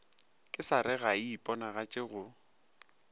kesare ga e iponagatše go